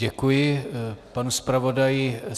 Děkuji panu zpravodaji.